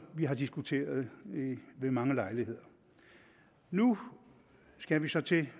vi har diskuteret ved mange lejligheder nu skal vi så til